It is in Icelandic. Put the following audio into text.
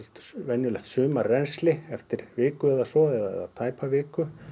venjulegt sumarrennsli eftir viku eða svo eða tæpa viku